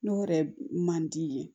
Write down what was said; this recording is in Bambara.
N'o yɛrɛ man di ye